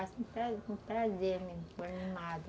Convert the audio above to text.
É, faço um prazer prazer,